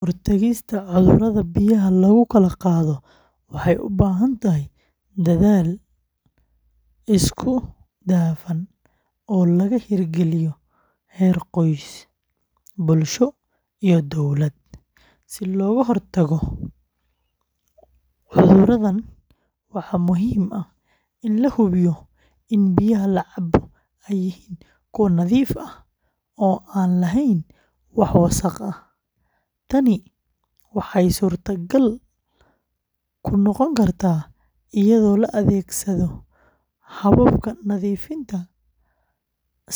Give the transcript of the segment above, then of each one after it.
Hortaagista cudurrada biyaha lagu kala qaado waxay u baahan tahay dadaal isku dhafan oo laga hirgaliyo heer qoys, bulsho iyo dowladba. Si looga hortago cudurradan, waxaa muhiim ah in la hubiyo in biyaha la cabo ay yihiin kuwo nadiif ah oo aan lahayn wax wasakh ah. Tani waxay suurtagal ku noqon kartaa iyadoo la adeegsado hababka nadiifinta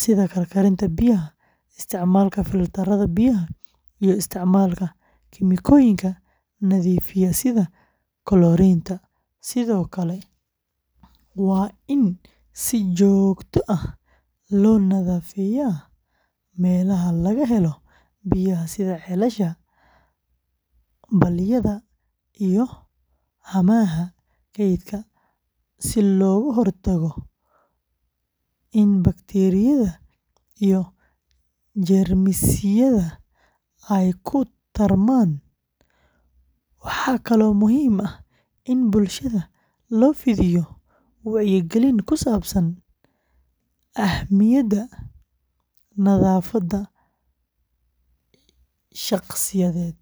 sida karkarinta biyaha, isticmaalka filtarrada biyaha, iyo isticmaalka kiimikooyinka nadiifiya sida koloriinta. Sidoo kale, waa in si joogto ah loo nadaafadeeyaa meelaha laga helo biyaha sida ceelasha, balliyada iyo haamaha kaydka si looga hortago in bakteeriyada iyo jeermisyada ay ku tarmaan. Waxaa kaloo muhiim ah in bulshada loo fidiyo wacyigelin ku saabsan ahmiyadda nadaafadda shakhsiyeed.